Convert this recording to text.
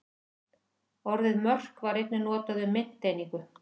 Orðið mörk var einnig notað um mynteiningu.